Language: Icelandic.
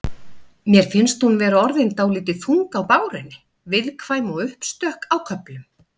Mér finnst hún vera orðin dálítið þung á bárunni. viðkvæm og uppstökk á köflum.